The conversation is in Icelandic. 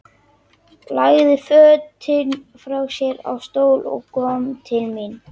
Lagði fötin frá sér á stól og kom til mín.